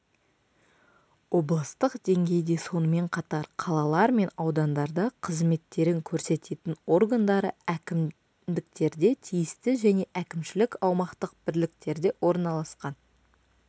облыстық деңгейде сонымен қатар қалалар мен аудандарда қызметтерін көрсететін органдары әкімдіктерде тиісті және әкімшілік-аумақтық бірліктерде орналасқан